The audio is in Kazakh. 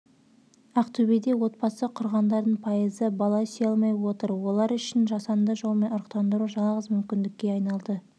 ақтөбеде отбасы құрғандардың пайызы бала сүйе алмай отыр олар үшін жасанды жолмен ұрықтандыру жалғыз мүмкіндікке айналды